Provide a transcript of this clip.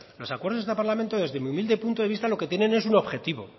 los acuerdos de este parlamento desde mi humilde punto de vista lo que tienen es un objetivo